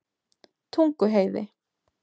Tunguheiði